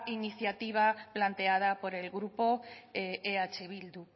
iniciativa planteada por el grupo eh bildu